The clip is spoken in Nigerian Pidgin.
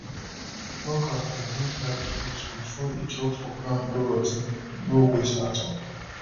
plucker go hold ripe fruit before e drop for ground go rot ten no waste at all